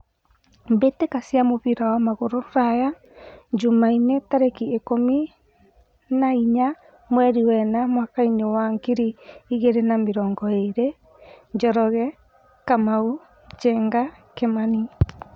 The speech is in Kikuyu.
Mbĩtĩka cia mũbira wa magũrũ Ruraya Jumaine tarĩki ikũmi na inya mweri wena mwakainĩ wa ngiri igĩrĩ na mĩrongo ĩrĩ :Njoroge, Kamau, Njenga, Kimani.